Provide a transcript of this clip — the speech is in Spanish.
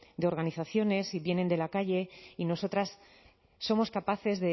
de organizaciones y vienen de la calle y nosotras somos capaces